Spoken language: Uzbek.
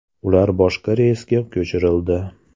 Ular boshqa reysga ko‘chirildi.